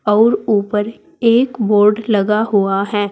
और ऊपर एक बोर्ड लगा हुआ है।